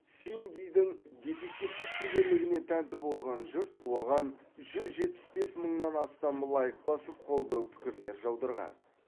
синдидің детективтік шеберлігіне тәнті болған жұрт оған жүз жетпіс бес мыңнан астам лайк басып қолдау пікірлер жаудырған